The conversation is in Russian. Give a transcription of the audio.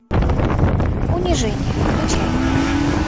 унижение включай